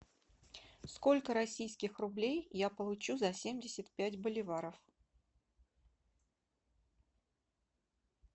сколько российских рублей я получу за семьдесят пять боливаров